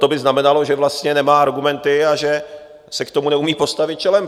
To by znamenalo, že vlastně nemá argumenty a že se k tomu neumí postavit čelem.